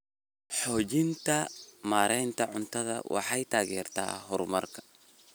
Xoojinta maareynta cuntada waxay taageertaa horumarka.